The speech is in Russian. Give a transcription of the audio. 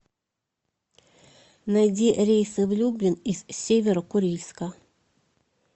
найди рейсы в люблин из северо курильска